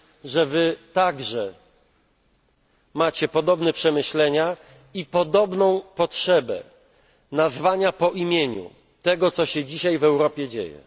że Wy także macie podobne przemyślenia i podobną potrzebę nazwania po imieniu tego, co się obecnie w Europie dzieje.